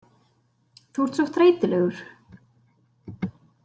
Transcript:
Þú ert svo þreytulegur.